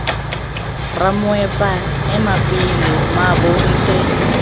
ramoepa ema pele mmaabo nte